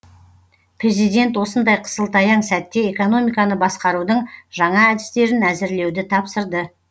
президент осындай қысылтаяң сәтте экономиканы басқарудың жаңа әдістерін әзірлеуді тапсырды